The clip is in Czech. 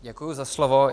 Děkuju za slovo.